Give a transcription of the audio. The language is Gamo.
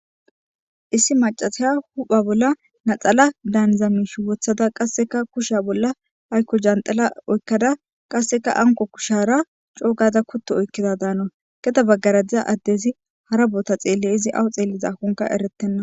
issi macasiya hupha bolla naxala daanzamish wothada qasseka kusha bolla aykko jandala oykkada qasseka anko kushara coogada kottu oykkida daano geda baggaradiza addezi harabota xeelle izi awu xeelliza hunka eretenna